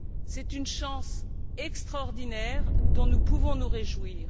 C'est une chance extraordinaire dont nous pouvons nous réjouir.